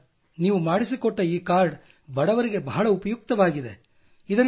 sir ನೀವು ಮಾಡಿಸಿಕೊಟ್ಟ ಈ ಕಾರ್ಡ್ ಬಡವರಿಗೆ ಬಹಳ ಉಪಯುಕ್ತವಾಗಿದೆ